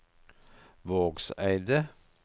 Vågseidet